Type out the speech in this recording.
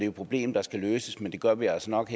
et problem der skal løses men det gør vi altså nok